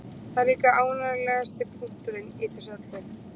Það er líka ánægjulegasti punkturinn í þessu öllu